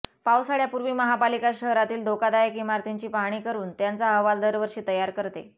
पावसाळ्यापूर्वी महापालिका शहरातील धोकादायक इमारतींची पाहणी करून त्याचा अहवाल दरवर्षी तयार करते